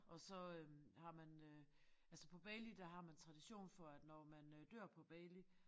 Og så øh har man øh altså på Bali der har man tradition for at når man øh dør på Bali